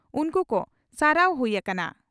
ᱩᱱᱠᱩ ᱠᱚ ᱥᱟᱨᱦᱟᱣ ᱦᱩᱭ ᱟᱠᱟᱱᱟ ᱾